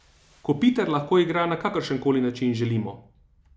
Kopitar lahko igra na kakršenkoli način želimo.